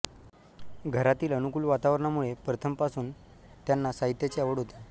घरातील अनुकूल वातावरणामुळे प्रथमपासून त्यांना साहित्याची आवड होती